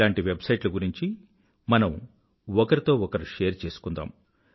ఇలాంటి వెబ్సైట్ల గురించి మనం ఒకరితో ఒకరం షేర్ చేసుకుందాం